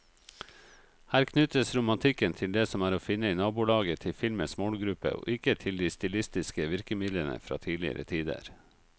Her knyttes romantikken til det som er å finne i nabolaget til filmens målgruppe, ikke til de stilistiske virkemidlene fra tidligere tider.